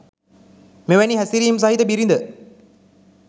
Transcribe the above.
මෙවැනි හැසිරීම් සහිත බිරිඳ